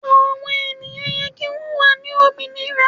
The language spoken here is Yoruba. Àwọn ènìyàn yẹ kí wón wà ní òmìnira.